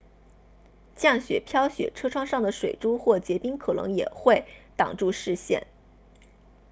降雪飘雪车窗上的水珠或结冰可能也会挡住视线